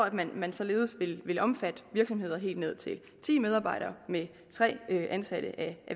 at man således vil vil omfatte virksomheder helt ned til ti medarbejdere med tre ansatte af